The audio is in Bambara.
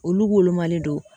Olu molomalen do